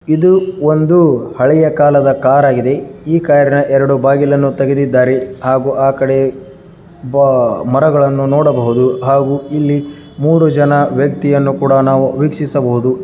ಇದು ಒಂದು ಹಳೆಯ ಕಾಲದ ಕಾರ್ ಆಗಿದೆ ಈ ಕಾರ್ನ ಎರಡು ಬಾಗಿಲನ್ನು ತೆಗೆದಿದ್ದಾರೆ ಹಾಗೂ ಆ ಕಡೆ ಮರಗಳನ್ನು ನೋಡಬಹುದು ಹಾಗೂ ಇಲ್ಲಿ ಮೂರು ಜನ ವ್ಯಕ್ತಿಯನ್ನು ಸಹ ನಾವು ವೀಕ್ಷಿಸಬಹುದು.